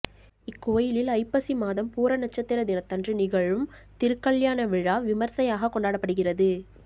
இக்கோயிலில் ஐப்பசி மாதம் பூர நட்சத்திர தினத்தன்று நிகழும் திருக்கல்யாண விழா விமர்சையாகக் கொண்டாடப்படுகிறது